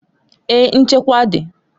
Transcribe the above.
Èè, nchekwa dị.